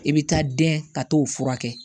I bɛ taa dɛn ka t'o furakɛ